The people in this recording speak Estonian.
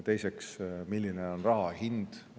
Teiseks, milline on raha hind.